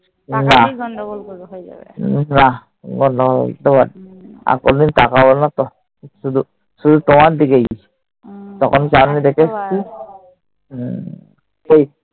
নাহ। আর কোনদিন তাকাবো না তো। শুধু তোমার দিকেই। তখন চাউনি দেখে এসছি।